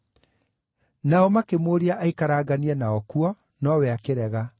Nao makĩmũũria aikaranganie nao kuo, nowe akĩrega.